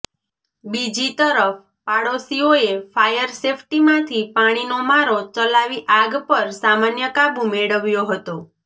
બીજી તરફ પાડોશીઓએ ફાયર સેફટીમાંથી પાણીનો મારો ચલાવી આગ પર સામાન્ય કાબુ મેળવ્યો હતો